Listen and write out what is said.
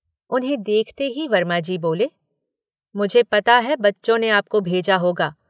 उन्हें देखते ही वर्माजी बोले-“मुझे पता है बच्चों ने आपको भेजा होगा।